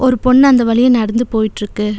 ஒரு பொண்ணு அந்த வழியா நடந்து போயிட்ருக்கு.